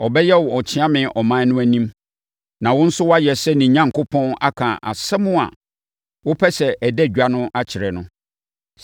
Ɔbɛyɛ wo ɔkyeame ɔman no anim, na wo nso woayɛ sɛ ne Onyankopɔn aka asɛm a wopɛ sɛ ɛda edwa akyerɛ no.